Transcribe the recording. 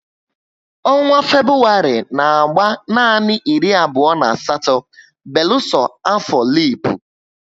Ọnwa Febụwarị n'agba nanị iri abụo na asatọ beluso afọ lipu